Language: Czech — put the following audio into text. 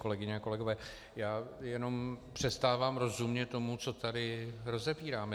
Kolegyně a kolegové, já jenom přestávám rozumět tomu, co tady rozebíráme.